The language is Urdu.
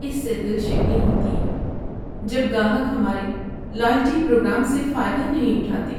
اس سے دل شکنی ہوتی ہے جب گاہک ہمارے لائلٹی پروگرام سے فائدہ نہیں اٹھاتے ہیں۔